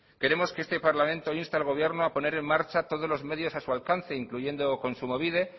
queremos que este parlamento inste al gobierno a poner en marcha todos los medios a su alcance incluyendo kontsumobide